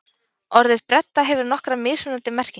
Orðið bredda hefur nokkrar mismunandi merkingar.